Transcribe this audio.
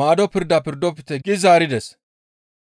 maado pirda pirdofte» gi zaarides.